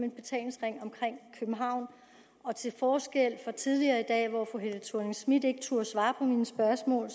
en betalingsring omkring københavn og til forskel fra tidligere i dag hvor fru helle thorning schmidt ikke turde svare på mine spørgsmål